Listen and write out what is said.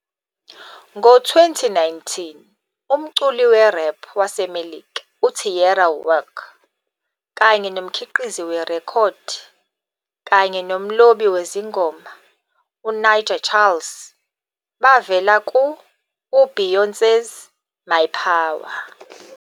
Ngo-2019, umculi we-rap waseMelika uTierra Whack kanye nomkhiqizi werekhodi kanye nomlobi wezingoma UNija Charles bavela ku-UBeyoncé's "My Power".